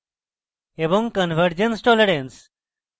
convergence tolerance